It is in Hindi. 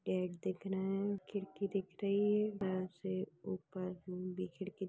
फ्लैट दिख रहे है खिड़की दिख रही है। बार से ऊपर भी खिड़की--